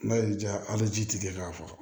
N'a y'i diya hali ji tigɛ k'a faga